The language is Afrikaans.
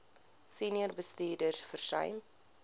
senior bestuurders versuim